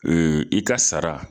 i ka sara